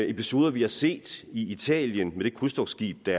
episode vi har set i italien med krydstogtskibet